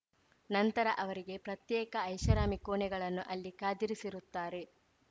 ನಂತರ ಅವರಿಗೆ ಪ್ರತ್ಯೇಕ ಐಷಾರಾಮಿ ಕೋಣೆಗಳನ್ನು ಅಲ್ಲಿ ಕಾದಿರಿಸಿರುತ್ತಾರೆ